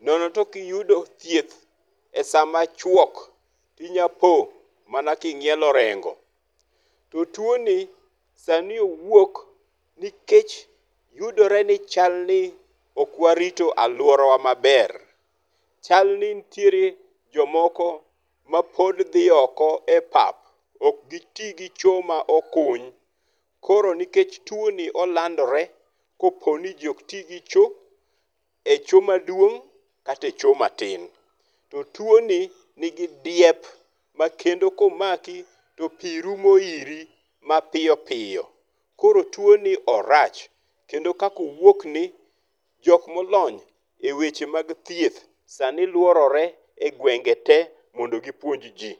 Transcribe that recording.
Nono to ka ok iyudo thieth e sama chuok inyalopo mana king'ielo orengo. To tuo ni sani owuok nikech yudore ni chalni ok warito aluorawa maber. Chalni nitiere jomoko ma pod dhi oko e pap. Ok gi ti gi cho ma okuny. Koro nikech tuo ni olandore kopo ni ji ok ti gi cho, e cho ma duong kata e cho ma tin. To tuo ni ni gi diep makendo komaki to pi rumo iri ma piyo piyo. Koro tuo ni orach. Kendo kaka owuokni jok molony e weche mag thieth sani luorore e gwenge te mondo gipuonj ji.